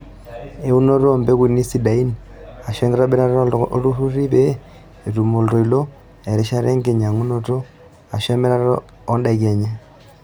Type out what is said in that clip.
Eunoto oo mpekuni sidain aashu enkitobirata oolturruri pee etum oltoilo erishata enkinyang'unoto aashu emirata oondaiki enye.